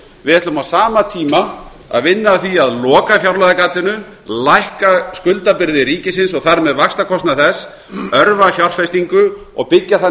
við ætlum á sama tíma að vinna að því að loka fjárlagagatinu lækka skuldabyrði ríkisins og þar með vaxtakostnað þess örva fjárfestingu og byggja þannig